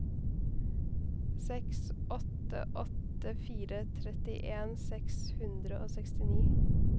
seks åtte åtte fire trettien seks hundre og sekstini